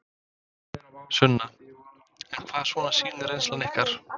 Sunna: En hvað svona sýnir reynslan ykkur?